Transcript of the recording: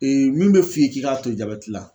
min bɛ f'i ye k'i k'a to jabɛti la